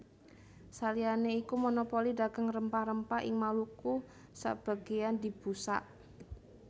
Saliyané iku monopoli dagang rempah rempah ing Maluku sabagéyan dibusak